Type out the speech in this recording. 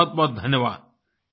बहुतबहुत धन्यवाद